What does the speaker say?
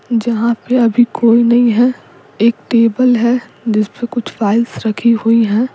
जहाँ पे अभी कोई नहीं है एक टेबल है जिस पे कुछ फाइल्स रखी हुई हैं।